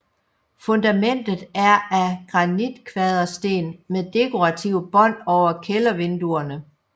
Fundamentet er af granitkvadersten med dekorative bånd over kældervinduerne